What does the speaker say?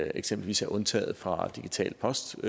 eksempelvis er undtaget fra digital post som